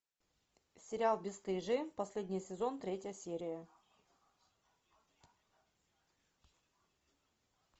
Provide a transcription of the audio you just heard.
сериал бесстыжие последний сезон третья серия